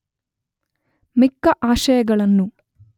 ಮಿಕ್ಕ ಆಶಯಗಳನ್ನು